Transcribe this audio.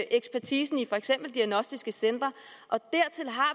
ekspertisen i for eksempel diagnostiske centre og dertil har